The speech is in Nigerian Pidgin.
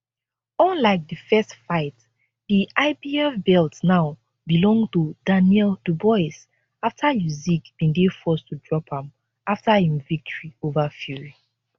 unlike di first fight di ibf belt now belong to daniel dubois afta usyk bin dey forced to drop am afta im victory ova fury